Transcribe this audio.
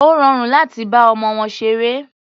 Ó rọrùn láti bá ọmọ wọn ṣeré.